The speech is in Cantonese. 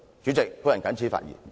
主席，我謹此發言。